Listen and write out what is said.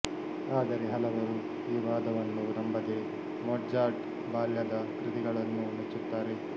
ಆದರೆ ಹಲವರು ಈ ವಾದವನ್ನು ನಂಬದೆ ಮೊಟ್ಜಾರ್ಟ್ ಬಾಲ್ಯದ ಕೃತಿಗಳನ್ನೂ ಮೆಚ್ಚುತ್ತಾರೆ